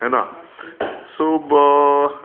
है ना. सो...